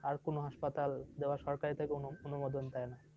আরও কোনও hospital যেগুলো সরকার থেকে অনুমোদন দেন।